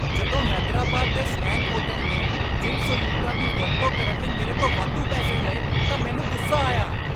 ਜਦੋਂ ਹੈਦਰਾਬਾਦ ਦੇ swank hotel ਨੇ ਜਿਮ ਸਹੂਲਤਾਂ ਦੀ ਵਰਤੋਂ ਕਰਨ ਲਈ ਮੇਰੇ ਤੋਂ ਵਾਧੂ ਪੈਸੇ ਲਏ ਤਾਂ ਮੈਨੂੰ ਗੁੱਸਾ ਆਇਆ।